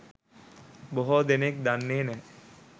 බොහෝ දෙනෙක් දන්නෙ නැහැ.